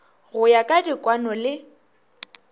go ya ka dikwano le